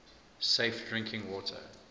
safe drinking water